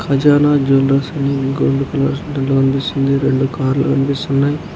ఖజానా జ్యూవెల్లెర్స్ అని gold colour దాంట్లో కనిపిస్తుంది. రెండు కార్లు కనిపిస్సున్నాయ్.